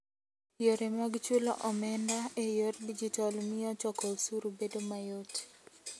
Yore mag chulo omenda e yor digital miyo choko osuru bedo mayot.